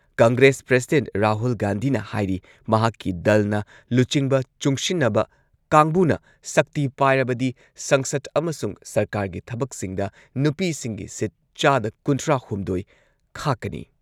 Congress president Rahul ꯒꯥꯟꯙꯤꯅ ꯍꯥꯏꯔꯤ ꯃꯍꯥꯛꯀꯤ ꯗꯜꯅ ꯂꯨꯆꯤꯡꯕ ꯆꯨꯡꯁꯤꯟꯅꯕ ꯀꯥꯡꯕꯨꯅ ꯁꯛꯇꯤ ꯄꯥꯏꯔꯕꯗꯤ ꯁꯪꯁꯗ ꯑꯃꯁꯨꯡ ꯁꯔꯀꯥꯔꯒꯤ ꯊꯕꯛꯁꯤꯡꯗ ꯅꯨꯄꯤꯁꯤꯡꯒꯤ ꯁꯤꯠ ꯆꯥꯗ ꯀꯨꯟꯊ꯭ꯔꯥꯍꯨꯝꯗꯣꯏ ꯈꯥꯛꯀꯅꯤ꯫